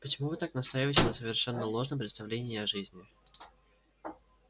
почему вы так настаиваете на совершенно ложном представлении о жизни